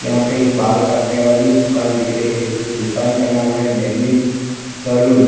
यहाँ पे एक बाल काटने वाली दुकान दिख रही है। जो दुकान का नाम है डेनिम सैलून --